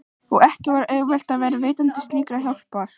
Og ekki var auðvelt að vera veitandi slíkrar hjálpar.